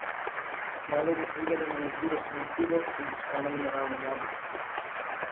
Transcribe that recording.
Kmalu je ugotovila, da ima na izbiro samo pivo in postano mineralno vodo.